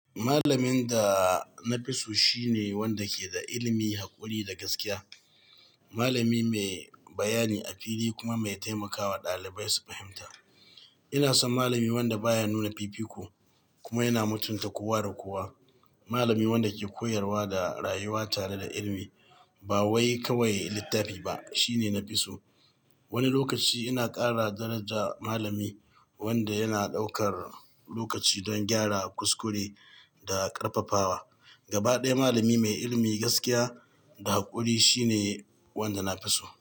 Malamin da na fi so shine wanda ke da ilimi, haƙuri da gaskiya. Malami mai bayani a fili kuma mai taimakawa ɗalibai su fahimta. Ina son malami wanda baya nuna fifiko kuma yana mutunta kowa da kowa. Malami wanda ke koyarwa da rayuwa tare da ilimi ba wai kawai littafi ba shine na fi so. Wani lokaci ina kara daraja malami wanda yana ɗaukar lokaci don gyara kuskure da ƙarfafawa. Gaba ɗaya malami mai ilimi, gaskiya da haƙuri shine wanda na fi so.